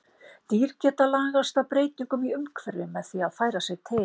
Dýr geta lagast að breytingum í umhverfi með því að færa sig til.